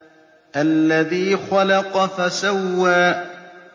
الَّذِي خَلَقَ فَسَوَّىٰ